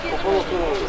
Sol otur.